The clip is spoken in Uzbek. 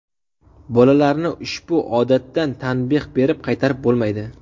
Bolalarni ushbu odatdan tanbeh berib qaytarib bo‘lmaydi.